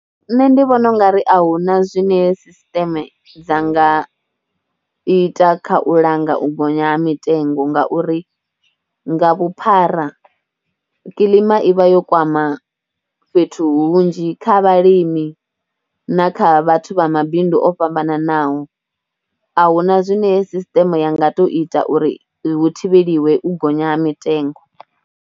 Nṋe ndi vhona u nga ri a hu na zwine sisiṱeme dzi nga ita kha u langa u gonya ha mitengo ngauri nga vhuphara, kilima i vha yo kwama fhethu hunzhi kha vhalimi na kha vhathu vha mabindu o fhambananaho. A hu na zwine sisiṱeme ya nga tou ita uri hu thivheliwe u gonya ha mitengo.